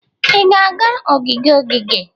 Ị ga-aga ogige ogige?